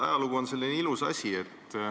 Ajalugu on selline ilus asi.